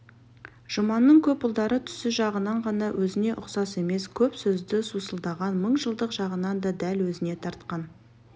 жұманның көп ұлдары түсі жағынан ғана өзіне ұқсас емес көп сөзді сусылдаған мылжыңдық жағынан да дәл өзіне тартқан